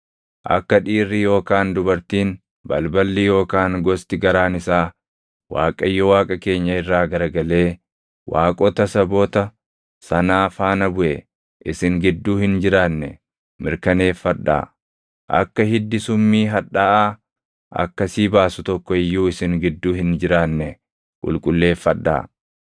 Akka dhiirri yookaan dubartiin balballi yookaan gosti garaan isaa Waaqayyo Waaqa keenya irraa garagalee waaqota saboota sanaa faana buʼe isin gidduu hin jiraanne mirkaneeffadhaa; akka hiddi summii hadhaaʼaa akkasii baasu tokko iyyuu isin gidduu hin jiraanne qulqulleeffadhaa.